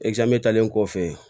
kɔfɛ